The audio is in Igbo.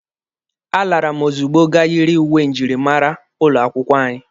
A lara m ozugbo ga yiri uwe njirimara ụlọ akwụkwọ anyị.